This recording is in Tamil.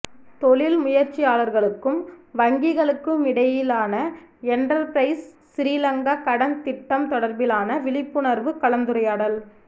தொழில் முயற்சியாளர்களுக்கும் வங்கிகளுக்குமிடையிலான என்ரர் பிரைஸ் சிறிலங்கா கடன் திட்டம் தொடர்பிலான விழிப்புணர்வுக் கலந்துரையாடல்